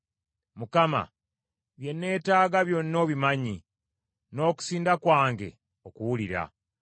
Mukama, bye neetaaga byonna obimanyi, n’okusinda kwange okuwulira.